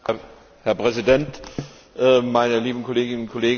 Herr Präsident, meine lieben Kolleginnen und Kollegen!